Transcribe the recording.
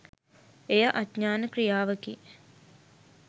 එය අඥාන ක්‍රියාවකි.